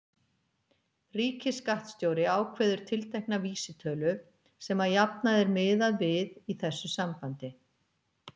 Ríkisskattstjóri ákveður tiltekna vísitölu sem að jafnaði er miðað við í þessu sambandi.